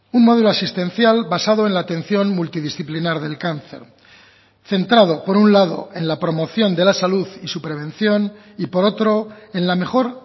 un modelo asistencial basado en la atención multidisciplinar del cáncer centrado por un lado en la promoción de la salud y su prevención y por otro en la mejor